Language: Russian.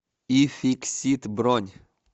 ификсит бронь